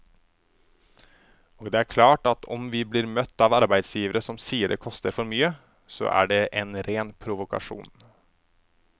Og det er klart at om vi blir møtt av arbeidsgivere som sier det koster for mye, så er det en ren provokasjon.